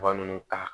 Ba ninnu ta